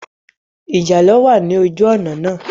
Ìjàlọ̀ wà ní ojú òná náà